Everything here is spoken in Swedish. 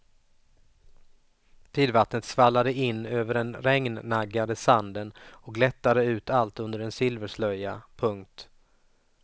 Tidvattnet svallade in över den regnnaggade sanden och glättade ut allt under en silverslöja. punkt